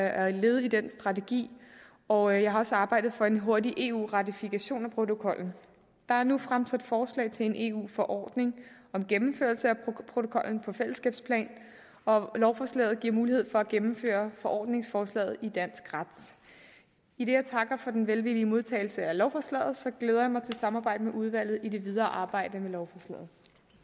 er et led i den strategi og jeg har også arbejdet for en hurtig eu ratifikation af protokollen der er nu fremsat forslag til en eu forordning om gennemførelse af protokollen på fællesskabplan og lovforslaget giver mulighed for at gennemføre forordningsforslaget i dansk ret idet jeg takker for den velvillige modtagelse af lovforslaget glæder jeg mig til samarbejdet med udvalget i det videre arbejde med